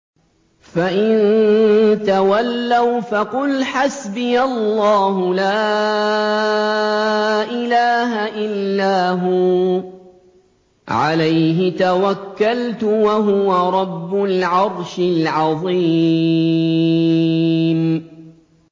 فَإِن تَوَلَّوْا فَقُلْ حَسْبِيَ اللَّهُ لَا إِلَٰهَ إِلَّا هُوَ ۖ عَلَيْهِ تَوَكَّلْتُ ۖ وَهُوَ رَبُّ الْعَرْشِ الْعَظِيمِ